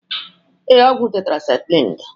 Ee, ọgwụ tetrasin dị.